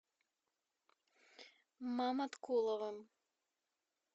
маматкуловым